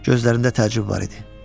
Gözlərində təəccüb var idi.